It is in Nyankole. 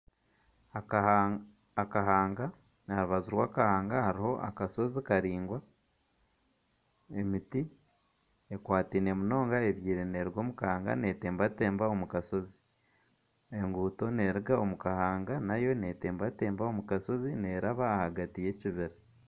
Akahanga aharubaju rwakahaanga hariho akasozi karaingwa emiti ekwataine munonga ebyairwe neruga omu kahanda neetembatemba omukashozi enguuto neruga omu kahanga nayo netembatemba omu kashozi neeraba ahagati y'ekibira.